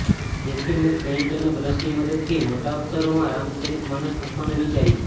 તેથી મેં પેઇન્ટ અને બ્રશની મદદથી મોટા અક્ષરોમાં રામચરિતમાનસ લખવાનું વિચાર્યું